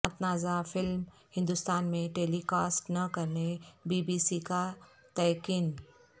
متنازعہ فلم ہندوستان میں telecast نہ کرنے بی بی سی کا تیقن